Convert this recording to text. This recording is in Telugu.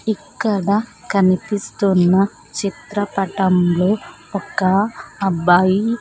ఇక్కడ కనిపిస్తున్న చిత్రపటంలో ఒక అబ్బాయి.